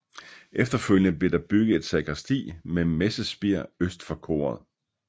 Efterfølgende blev der bygget et sakristi med messespir øst for koret